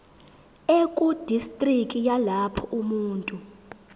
ekudistriki yalapho umuntu